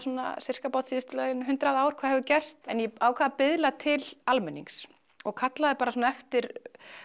sirka síðustu hundrað ár hvað hefur gerst en ég ákvað að biðla til almennings og kallaði eftir